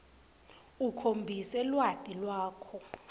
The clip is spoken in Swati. ukhombise lwati lwakho